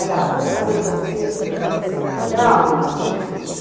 Aliás, não casei tão cedo, mas comecei a namorar o meu marido cedo.